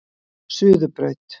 Suðurbraut